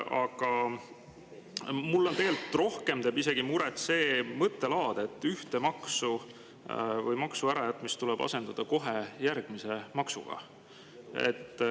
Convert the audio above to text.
Aga mulle tegelikult teeb rohkem muret see mõttelaad, et üks maks, kui see ära jäetakse, tuleb asendada kohe järgmise maksuga.